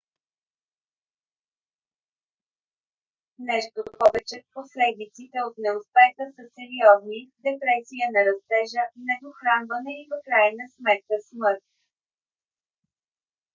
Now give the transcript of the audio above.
нещо повече последиците от неуспеха са сериозни: депресия на растежа недохранване и в крайна сметка смърт